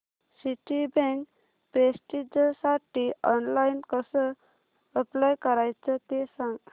Citibank प्रेस्टिजसाठी online कसं apply करायचं ते सांग